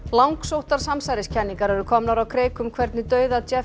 langsóttar samsæriskenningar eru komnar á kreik um hvernig dauða